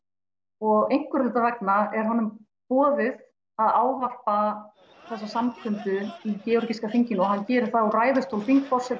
og einhverra hluta vegna er honum boðið að ávarpa þessa samkundu í georgíska þinginu og hann gerir það úr ræðustól þingforseta